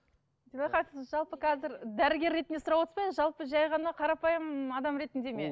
сіз жалпы қазір дәрігер ретінде сұрап отырсыз ба енді жалпы жай ғана қарапайым адам ретінде ме